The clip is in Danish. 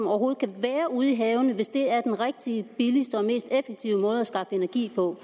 overhovedet kan være ude i havene hvis det er den rigtige billigste og mest effektive måde at skaffe energi på